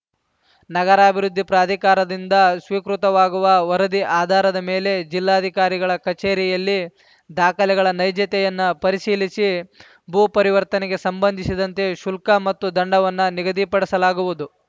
ನಗರಾಭಿವೃದ್ಧಿ ಪ್ರಾಧಿಕಾರದಿಂದ ಸ್ವೀಕೃತವಾಗುವ ವರದಿ ಆಧಾರದ ಮೇಲೆ ಜಿಲ್ಲಾಧಿಕಾರಿಗಳ ಕಚೇರಿಯಲ್ಲಿ ದಾಖಲೆಗಳ ನೈಜತೆಯನ್ನ ಪರಿಶೀಲಿಸಿ ಭೂಪರಿವರ್ತನೆಗೆ ಸಂಬಂಧಿಸಿದಂತೆ ಶುಲ್ಕ ಮತ್ತು ದಂಡವನ್ನು ನಿಗದಿಪಡಿಸಲಾಗುವುದು